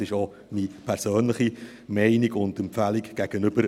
Das ist auch meine persönliche Meinung und Empfehlung dem Rat gegenüber.